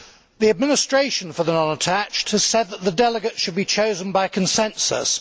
The administration for the non attached has said that the delegates should be chosen by consensus.